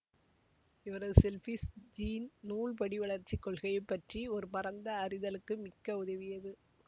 இவரது selfish gene நூல் படிவளர்ச்சி கொள்கை பற்றிய ஒரு பரந்த அறிதலுக்கு மிக்க உதவியது